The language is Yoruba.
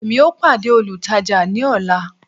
emi o pade olùtajà ni ọla